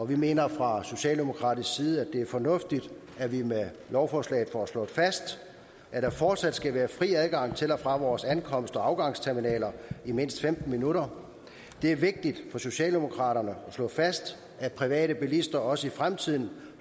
vi mener fra socialdemokratisk side at det er fornuftigt at vi med lovforslaget får slået fast at der fortsat skal være fri adgang til og fra vores ankomst og afgangsterminaler i mindst femten minutter det er vigtigt for socialdemokraterne at slå fast at private bilister også i fremtiden